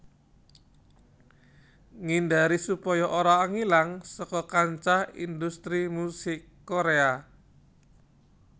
Ngindari supaya ora ngilang saka kancah industri musik Korèa